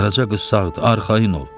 Qaraca qız sağdır, arxayın ol.